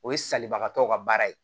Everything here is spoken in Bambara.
O ye salibagatɔw ka baara ye